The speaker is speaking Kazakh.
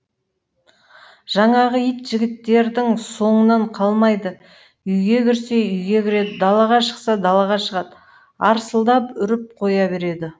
жаңағы ит жігіттердің соңынан қалмайды үйге кірсе үйге кіреді далаға шықса далаға шығады арсылдап үріп қоя береді